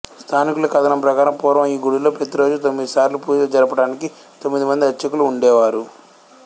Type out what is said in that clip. స్థానికుల కథనం ప్రకారం పూర్వం ఈ గుడిలో ప్రతిరోజు తొమ్మిదిసార్లు పూజలు జరపటానికి తొమ్మిది మంది అర్చకులు ఉండేవారు